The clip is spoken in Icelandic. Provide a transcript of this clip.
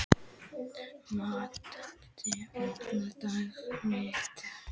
Matthilda, opnaðu dagatalið mitt.